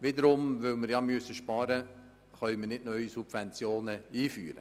Weil wir sparen müssen, können wir wiederum keine neuen Subventionen einführen.